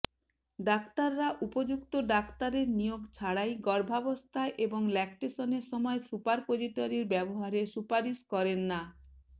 ডাক্তাররা উপযুক্ত ডাক্তারের নিয়োগ ছাড়াই গর্ভাবস্থায় এবং ল্যাক্টেশনের সময় সুপারপোজিটরির ব্যবহারের সুপারিশ করেন না